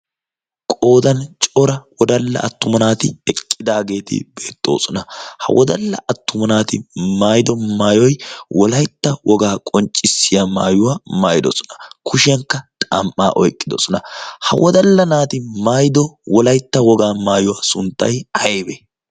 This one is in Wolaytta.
qoodan cora wodalla attuma naati eqqidaageeti beetxoosona ha wodalla attuma naati maaido maayoi wolaitta wogaa qonccissiya maayuwaa maayidosona kushiyankka xam''aa oiqqidosona ha wodalla naati maayido wolaitta wogaa maayuwaa sunttai haiwee